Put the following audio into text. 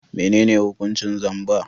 Menene hukuncin zamba?